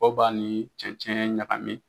Dɔw b'a ni cɛncɛn ɲagami